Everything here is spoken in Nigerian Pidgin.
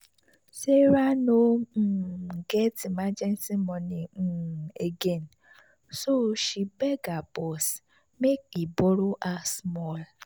sarah no um get emergency money um again so she beg her boss make he borrow her small.